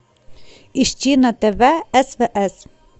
ищи на тв стс